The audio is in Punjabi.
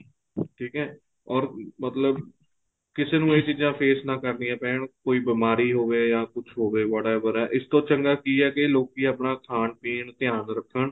ਠੀਕ ਏ or ਮਤਲਬ ਕਿਸੇ ਨੂੰ ਏ ਚੀਜ਼ਾਂ face ਨਾ ਕਰਣੀਆਂ ਪੈਣ ਕੋਈ ਬੀਮਾਰੀ ਹੋਵੇ ਜਾਂ ਕੁੱਝ ਹੋਵੇ what ever ਏ ਇਸ ਤੋ ਚੰਗਾ ਏ ਲੋਕੀ ਆਪਣਾ ਖਾਣ ਪੀਣ ਧਿਆਨ ਰੱਖਣ